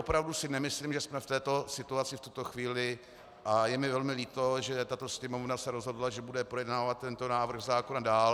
Opravdu si nemyslím, že jsme v této situaci v tuto chvíli, a je mi velmi líto, že tato Sněmovna se rozhodla, že bude projednávat tento návrh zákona dál.